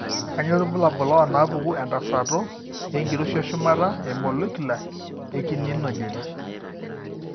Kainyio irbulabul onaapuku entasato enkiroshi eshumata emolecular ekininogen?